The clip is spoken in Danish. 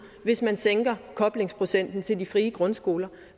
hvis man sænker koblingsprocenten til de frie grundskoler